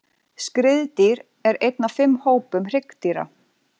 Skriðdýr er einn af fimm hópum hryggdýra.